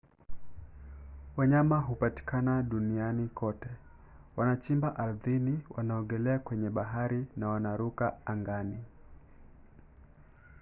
wanyama hupatikana duniani kote. wanachimba ardhini wanaogelea kwenye bahari na wanaruka angani